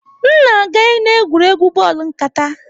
M na-aga n'egwuregwu bọọlụ nkata.